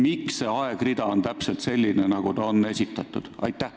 Miks see aegrida on täpselt selline, nagu see on esitatud?